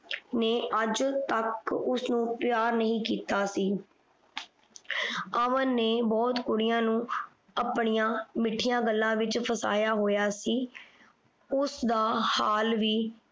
ਨੇ ਅੱਜ ਤੱਕ ਉਸਨੂੰ ਪਿਆਰ ਨਹੀਂ ਕੀਤਾ ਸੀ। ਅਮਨ ਨੇ ਬਹੁਤ ਕੁੜੀਆਂ ਨੂੰ ਆਪਣੀਆਂ ਮਿੱਠੀਆਂ ਗੱਲਾਂ ਵਿਚ ਫਸਾਇਆ ਹੋਇਆ ਸੀ। ਉਸ ਦਾ ਹਾਲ ਵੀ